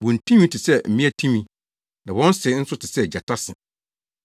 Wɔn ti nwi te sɛ mmea ti nwi, na wɔn se nso te sɛ gyata se.